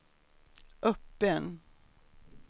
öppen